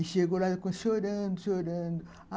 E chegou lá chorando, chorando.